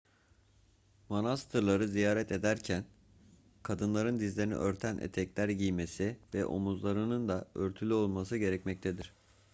manastırları ziyaret ederken kadınların dizlerini örten etekler giymesi ve omuzlarının da örtülü olması gerekmektedir